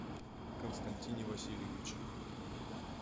константине васильевиче